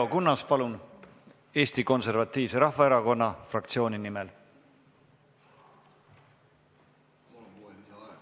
Leo Kunnas Eesti Konservatiivse Rahvaerakonna fraktsiooni nimel!